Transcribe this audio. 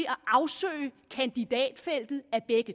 afsøge kandidatfeltet